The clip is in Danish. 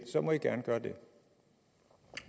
må man gerne gøre det